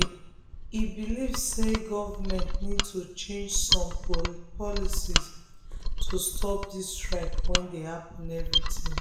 e believe say government need to change some policies to stop this strike wey dey happen every term.